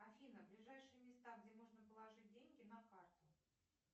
афина ближайшие места где можно положить деньги на карту